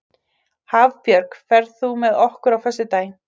Hafbjörg, ferð þú með okkur á föstudaginn?